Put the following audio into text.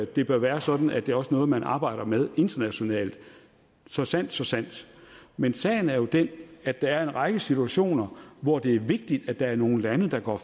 det bør være sådan at det også er noget man arbejder med internationalt så sandt så sandt men sagen er jo den at der er en række situationer hvor det er vigtigt at der er nogle lande der går